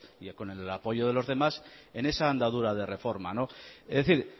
y con el apoyo de los demás en esa andadura de reforma es decir